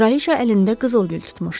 Kraliça əlində qızıl gül tutmuşdu.